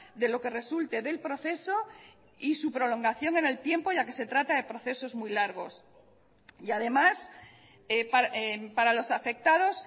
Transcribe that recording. de lo que resulte del proceso y su prolongación en el tiempo ya que se trata de procesos muy largos y además para los afectados